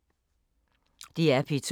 DR P2